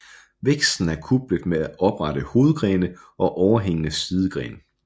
Væksten er kuplet med oprette hovedgrene og overhængende sidegrene